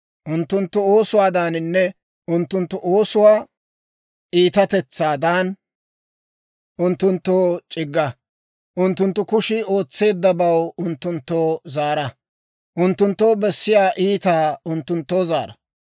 Unttunttu oosuwaadaaninne unttunttu oosuwaa iitatetsaadan, unttunttoo c'igga; unttunttu kushii ootseeddabaw unttunttoo zaara. Unttunttoo bessiyaa iitaa unttunttoo zaara.